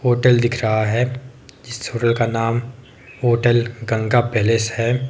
Hotel दिख रहा है इस होटल का नाम होटल गंगा पैलेस है।